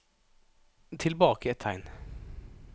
Tilbake ett tegn